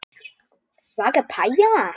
Svaka pæja.